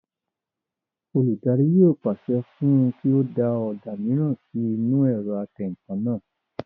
Olùdarí yóò pàṣẹ fún un kí ó da ọ̀dà mìíràn sí inú ẹ̀rọ atẹǹkan náà